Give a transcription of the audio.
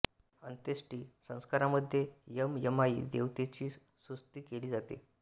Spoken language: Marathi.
अन्त्येष्टी संस्कारामध्ये यम यमाई देवतेची स्तुती केली जाते